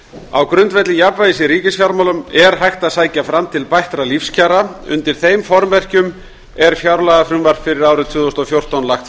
á grundvelli jafnvægis í ríkisfjármálum er hægt að sækja fram til bættra lífskjara undir þeim formerkjum er fjárlagafrumvarp fyrir árið tvö þúsund og fjórtán lagt